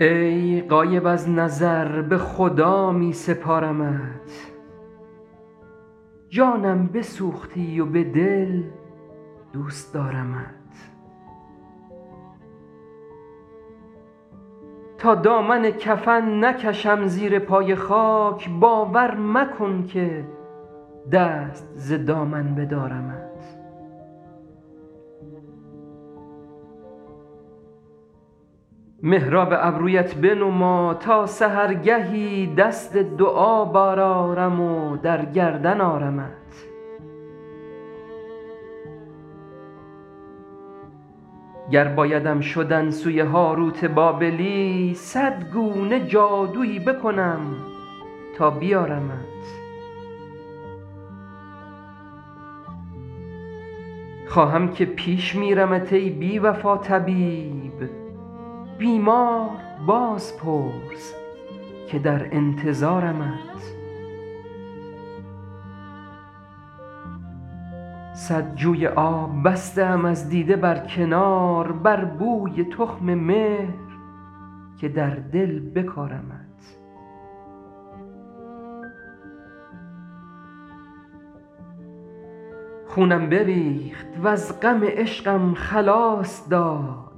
ای غایب از نظر به خدا می سپارمت جانم بسوختی و به دل دوست دارمت تا دامن کفن نکشم زیر پای خاک باور مکن که دست ز دامن بدارمت محراب ابرویت بنما تا سحرگهی دست دعا برآرم و در گردن آرمت گر بایدم شدن سوی هاروت بابلی صد گونه جادویی بکنم تا بیارمت خواهم که پیش میرمت ای بی وفا طبیب بیمار باز پرس که در انتظارمت صد جوی آب بسته ام از دیده بر کنار بر بوی تخم مهر که در دل بکارمت خونم بریخت وز غم عشقم خلاص داد